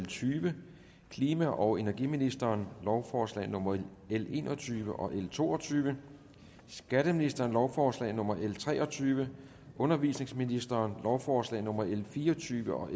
tyve klima og energiministeren lovforslag nummer l en og tyve og to og tyve skatteministeren lovforslag nummer l tre og tyve undervisningsministeren lovforslag nummer l fire og tyve og